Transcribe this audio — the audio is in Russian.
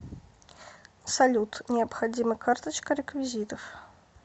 салют необходима карточка реквизитов